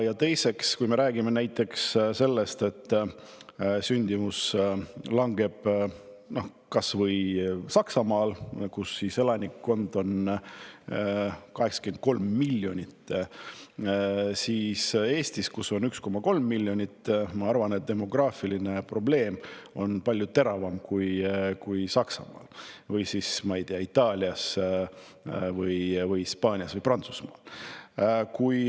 Ja teiseks, kui me räägime näiteks sellest, et sündimus langeb kas või Saksamaal, kus elanikkond on 83 miljonit, siis Eestis, kus elab 1,3 miljonit inimest, on demograafiline probleem palju teravam kui Saksamaal või, ma ei tea, Itaalias, Hispaanias või Prantsusmaal.